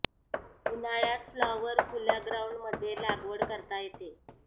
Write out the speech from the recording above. उन्हाळ्यात फ्लॉवर खुल्या ग्राउंड मध्ये लागवड करता येते